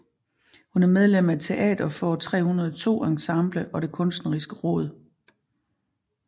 Hun er medlem af Teater Får302 ensemble og det kunstneriske råd